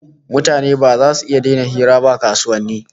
Mutane ba zasu iya daina hira ba a kasuwanni